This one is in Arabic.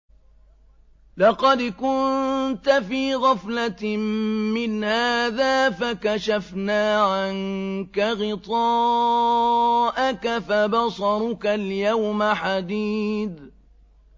لَّقَدْ كُنتَ فِي غَفْلَةٍ مِّنْ هَٰذَا فَكَشَفْنَا عَنكَ غِطَاءَكَ فَبَصَرُكَ الْيَوْمَ حَدِيدٌ